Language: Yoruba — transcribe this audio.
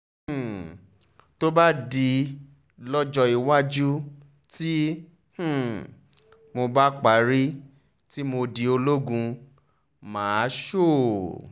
um tó bá di lọ́jọ́ iwájú tí um mo bá parí tí mo di ológun mà á sọ ọ́